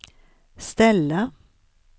ställa